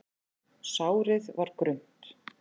Sárið var grunnt.